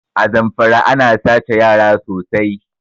A Zamfara ana sace yara sosai